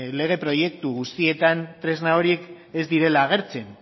lege proiektu guztietan tresna horiek ez direla agertzen